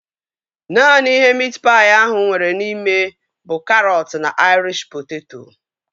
Naanị ihe miit paị ahụ nwere n'ime bụ karọt na aịrish poteto